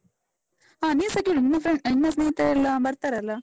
ಹ, ನೀಸ ಕೇಳು, ನಿನ್ನ friends ನಿನ್ನ ಸ್ನೇಹಿತರೆಲ್ಲ ಬರ್ತಾರಲ್ಲ?